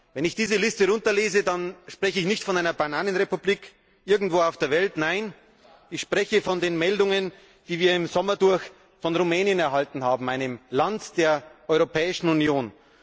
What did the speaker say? Wenn ich diese Liste runterlese, dann spreche ich nicht von einer Bananenrepublik irgendwo auf der Welt. Nein, ich spreche von den Meldungen, die wir im Sommer von Rumänien erhalten haben, einem Land der Europäischen Union.